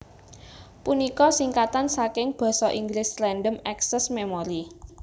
punika singkatan saking Basa Inggris Random Access Memory